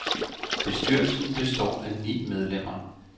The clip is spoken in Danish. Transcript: Bestyrelsen består af ni medlemmer.